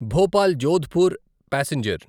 Bhopal Jodhpur passenger